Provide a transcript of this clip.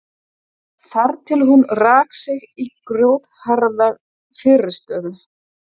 Þar til hún rak sig í grjótharða fyrirstöðu.